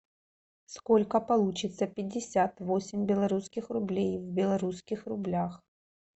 сколько получится пятьдесят восемь белорусских рублей в белорусских рублях